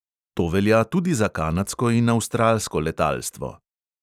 To velja tudi za kanadsko in avstralsko letalstvo.